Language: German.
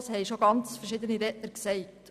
Das haben schon verschiedene Redner gesagt.